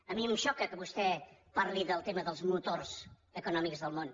a mi em xoca que vostè parli del tema dels motors econòmics del món